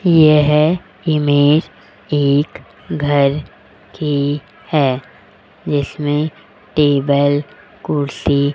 यह इमेज एक घर की है जिसमें टेबल कुर्सी --